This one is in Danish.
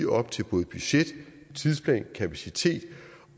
op til både budget tidsplan kapacitet